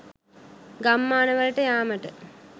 ගම්මාන වලට යාමට